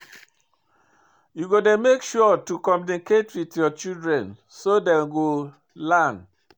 You go dey make sure to communicate with your children so dey go learn